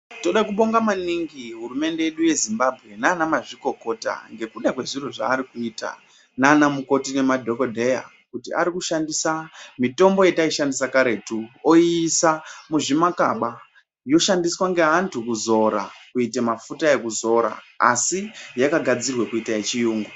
Toda kubonga maningi hurumende yedu yezimbambwe nana mazvikokota ngekuda kwezviro zvaari kuita nana mukoti nemadhogodheya. Kuti ari kushandisa mitombo yetaishandisa karetu aiisa muzvimakaba yoshandiswa ngeantu kuzora kuite mafuta ekuzora, asi yakagadzirwe kuita yechiyungu.